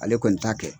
Ale kɔni t'a kɛ